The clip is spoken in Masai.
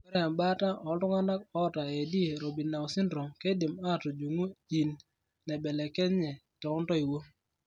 Ore embata ooltung'anak oota AD Robinow syndrome keidim atujung gene naibelekenye too ntoiwuo.